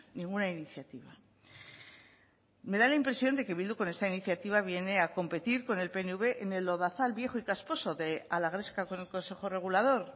ninguna iniciativa me da la impresión de que bildu con esta iniciativa viene a competir con el pnv en el lodazal viejo y casposo de a la gresca con el consejo regulador